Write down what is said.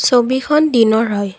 ছবিখন দিনৰ হয়।